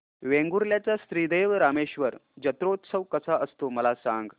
वेंगुर्ल्या चा श्री देव रामेश्वर जत्रौत्सव कसा असतो मला सांग